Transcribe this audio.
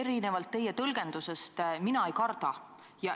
Erinevalt teie tõlgendusest mina ei karda.